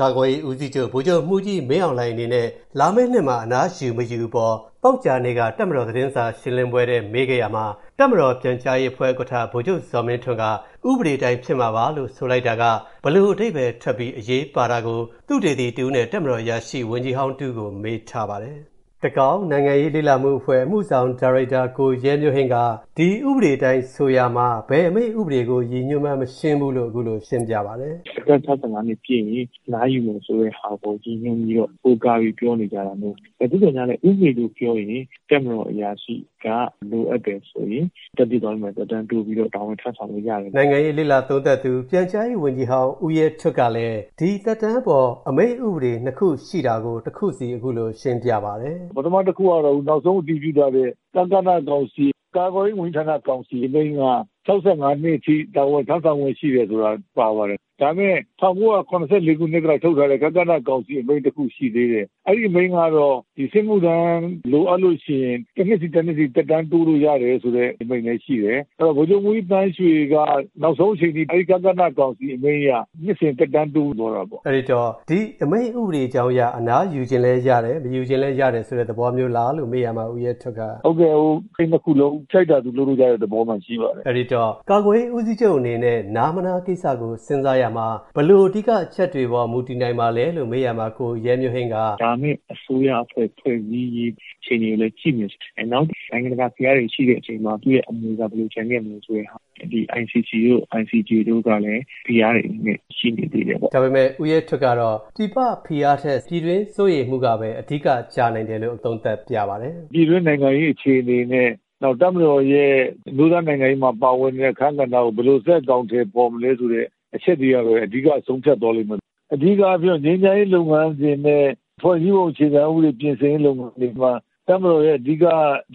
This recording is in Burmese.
ကာကွယ်ရေးဦးစီးချုပ် ဗိုလ်ချုပ်မှူးကြီး မင်းအောင်လှိုင်အနေနဲ့ လာမယ့်နှစ်မှာ အနားယူမယူအပေါ် သောကြာနေ့က တပ်မတော် သတင်းစာရှင်းလင်းပွဲထဲ မေးခဲ့ရာမှာ တပ်မတော်ပြန်ကြားရေးအဖွဲ့ ဥက္ကဋ္ဌ ဗိုလ်ချုပ်ဇော်မင်းထွန်းက ဥပဒေအတိုင်း ဖြစ်မှာပါလို့ ဆိုလိုက်တာက ဘယ်လိုအဓိပ္ပာယ်ထွက်ပြီး အရေးပါတာကို သုတေသီတဦးနဲ့ တပ်မတော်အရာရှိ ဝန်ကြီးဟောင်းတဦးကို ကိုဝင်းမင်း ဆက်သွယ်မေးမြန်းပြီး တင်ပြထားပါတယ်။ တကောင်း နိုင်ငံရေးလေ့လာမှုအဖွဲ့ အမှုဆောင်ဒါရိုက်တာ ကိုရဲမျိုးဟိန်းက ဒီဥပဒေအတိုင်း ဆိုရာမှာ ဘယ်အမိန့်ဥပဒေကို ရည်ညွှန်းမှန်း မရှင်းဘူးလို့ အခုလို ရှင်းပြပါတယ်။ “အသက် ၆၅ နှစ်ပြည့်ရင် အနားယူမယ်ဆိုတဲ့ဟာကို ရည်ညွှန်းပြီးတော့ ကိုးကားပြီး ပြောနေကြတာမို့၊ သို့သော်ငြားလည်း ဥပဒေလို့ပြောရင် တပ်မတော်အရာရှိက လိုအပ်တယ်ဆိုရင် သက်တမ်းတိုးပြီးတော့ တာဝန်ထမ်းဆောင်လို့ရတယ်။” နိုင်ငံရေးလေ့လာသုံးသပ်သူ ပြန်ကြားရေးဝန်ကြီးဟောင်း ဦရဲထွဋ်ကလည်း ဒီသက်တမ်းအပေါ် အမိန့်ဥပဒေ နှစ်ခုရှိတာကို တခုစီ အခုလိုရှင်းပြပါတယ်။ “ပထမတခုကတော့ နောက်ဆုံးအတည်ပြုထားတဲ့ ကကနကောင်စီ ကာကွယ်ရေးဝန်ကြီးဌာနကောင်စီ အမိန့်က ၆၅ နှစ်အထိ တာဝန်ထမ်းဆောင်ခွင့် ရှိတယ်ဆိုတာ ပါတယ်။ ဒါပေမယ့် ၁၉၇၄ ခုနှစ်က ထုတ်ထားတဲ့ ကကနကောင်စီ အမိန့်တခု ရှိသေးတယ်။ အဲဒီအမိန့်ကတော့ စစ်မှုထမ်း လိုအပ်လို့ရှိရင် တနှစ်စီ တနှစ်စီ သက်တမ်းတိုးလို့ရတယ်ဆိုတဲ့ အမိန့်လည်းရှိတယ်။ အဲတော့ ဗိုလ်ချုပ်မှူးကြီး သန်းရွှေက နောက်ဆုံးအချိန်အထိ အဲဒီ ကကနကောင်စီ အမိန့်အရ နှစ်စဉ် သက်တမ်းတိုးသွားတာပေါ့။” အဲတော့ ဒီအမိန့်ဥပဒေကြောင်းအရ အနားယူချင်လည်းရတယ်၊ မယူချင်လည်းရတယ် ဆိုတဲ့သဘောမျိုးလားလို့ မေးရာမှာ ဦးရဲထွဋ်က “အဲဒီနှစ်ခုလုံး ကြိုက်တာ သူလုပ်လို့ရတဲ့ သဘောမှာရှိပါတယ်။” လို့ ပြောပါတယ်။ အဲဒီတော့ ကာကွယ်ရေးဦးစီးချုပ်အနေနဲ့ နားမနားကိစ္စကို စဉ်းစားရာမှာ ဘယ်လိုအဓိကအချက်တွေပေါ် မူတည်နိုင်ပါလဲလို့ မေးရာမှာ ကိုရဲမျိုးဟိန်းက အခုလို ရှင်းပြပါတယ်။ “၅ နှစ်အစိုးရအဖွဲ့ ဖွဲ့စည်းရေး အခြေအနေကိုလည်း ကြည့်မယ်။ နောက် နိုင်ငံတကာဖိအားတွေ ရှိတဲ့အချိန်မှာ သူ့ရဲ့ အနေအထားက ဘယ်လိုကျန်ခဲ့မလဲ ဆိုတဲ့ဟာရယ်၊ ICC တို့ ICJ တို့ကလည်း ဖိအားတွေအနေနဲ့ ရှိနေသေးတယ်ပေါ့။” ဒါပေမယ့် ဦးရဲထွဋ်ကတော့ ပြည်ပဖိအားထက် ပြည်တွင်းစိုးရိမ်မှုကပဲ အဓိကကျနိုင်တယ်လို့ သုံးသပ်ပြပါတယ်။ “ပြည်တွင်းနိုင်ငံရေးအခြေအနေနဲ့ နောက် တပ်မတော်ရဲ့ အမျိုးသားနိုင်ငံရေးမှာ ပါဝင်နေတဲ့ အခန်းကဏ္ဍကို ဘယ်လို ဆက်အကောင်အထည်ဖော်မလဲ ဆိုတဲ့ အချက်တွေကပဲ အဓိက ဆုံးဖြတ်သွားလိမ့်မယ်။ အဓိကပြောရင် ငြိမ်းချမ်းရေး လုပ်ငန်းစဉ်နဲ့ ဖွဲ့စည်းပုံအခြေခံဥပဒေ ပြင်ဆင်ရေး လုပ်ငန်းစဉ်တွေမှာ တပ်မတော်ရဲ့ အဓိက